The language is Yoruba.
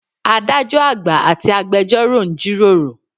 Adájọ́ àgbà àti agbẹjórò ń jí ròrò.